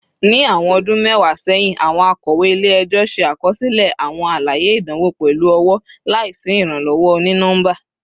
Ni awọn ọdun mẹwa sẹhin, awọn akọwe ile-ẹjọ ṣe akọsilẹ awọn alaye idanwo pẹlu ọwọ, laisi iranlọwọ oni-nọmba